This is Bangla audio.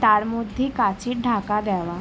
তার মধ্যে কাঁচের ঢাকা দেওয়া।